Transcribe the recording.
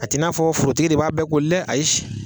A t'i n'a forotigi de b'a bɛɛ koli dɛ ayi